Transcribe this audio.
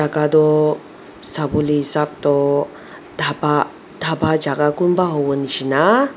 ka toh sawolae hisap toh dhapa dhapa jaka kunba howoshina.